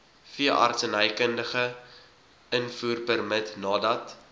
veeartsenykundige invoerpermit nadat